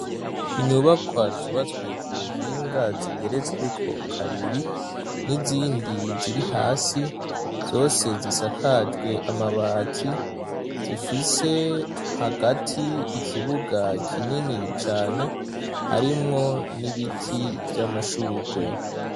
Inyubakwa zubatswe ku buhinga zigeretsweko kabiri, n'izindi ziri hasi. Zose zisakajwe amabati. Zifise hagati ikibuga kinini cane harimwo n'ibiti vy'amashurwe.